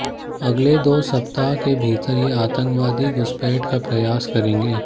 अगले दो सप्ताह के भीतर ये आतंकवादी घुसपैठ का प्रयास करेंगे